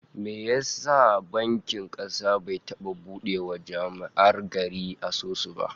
Mene ya sa bankin kasa bai taba bude wa jama'ar gari asusu ba?